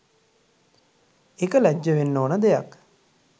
ඒක ලැජ්ජ වෙන්න ඕන දෙයක්